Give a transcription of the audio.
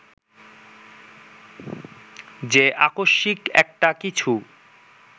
যে আকস্মিক একটা কিছু